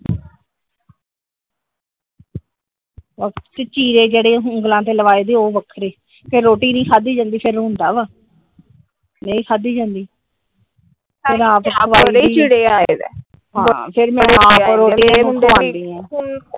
ਫਿਰ ਚੀਰੇ ਜਿਹੜੇ ਉਂਗਲਾਂ ਤੇ ਲੱਗਦੇ ਉਹ ਵੱਖਰੇ ਫਿਰ ਰੋਟੀ ਨੀ ਖਾਦੀ ਜਾਂਦੀ ਫਿਰ ਰੋਂਦਾ ਆ ਨਹੀਂ ਖਾਦੀ ਜਾਂਦੀ .